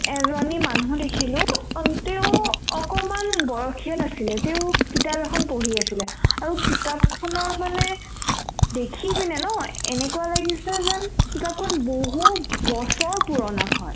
এজনী মানুহ দেখিলো অ তেওঁ অকমান বয়সীয়াল আছিলে তেওঁ কিতাপ এখন পঢ়ি আছিলে আৰু কিতাপখনৰ মানে দেখিপিনে নহয় এনেকুৱা লাগিছে যেন কিতাপখন বহুত বছৰ পুৰণা হয়